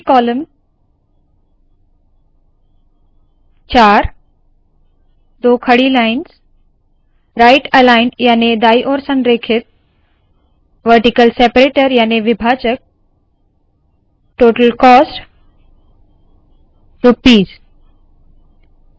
multi column 4 दो खड़ी lines right aligned याने दाईं ओर संरेखित वरटीकल सेपरेटर याने विभाजक टोटल कोस्ट रुपीस